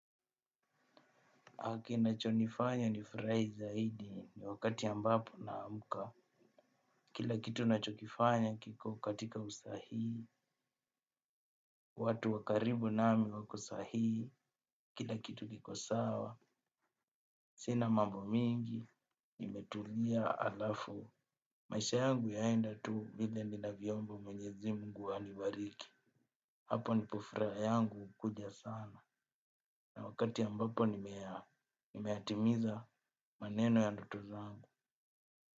Kinacho nifanya ni furahi zaidi ni wakati ambapo na amka. Kila kitu nacho kifanya kiko katika usahihi. Watu wakaribu nami wako sahihi. Kila kitu kikosawa. Sina mambo mingi. Nimetulia alafu. Maisha yangu yaenda tu vile ninavyo omba menyezi mungu anibariki. Hapo ndipo furaha yangu huja sana. Na wakati ambapo nimeyatimiza maneno ya ndoto zangu.